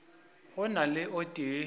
go na le o tee